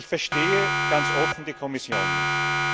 Ich verstehe ganz offen die Kommission nicht.